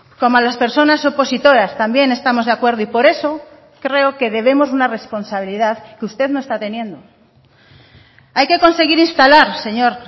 como a las personas opositoras también estamos de acuerdo y por eso creo que debemos una responsabilidad que usted no está teniendo hay que conseguir instalar señor